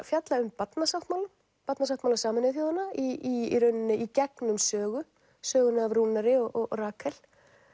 fjalla um Barnasáttmálann Barnasáttmála Sameinuðu þjóðanna í rauninni í gegnum sögu söguna af Rúnari og Rakel